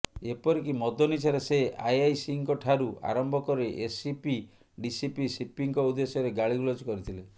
ଏପରିକି ମଦ ନିଶାରେ ସେ ଆଇଆଇସିଙ୍କଠାରୁ ଆରମ୍ଭ କରି ଏସିପି ଡିସିପି ସିପିଙ୍କ ଉଦ୍ଦେଶ୍ୟରେ ଗାଳିଗୁଲଜ କରିଥିଲେ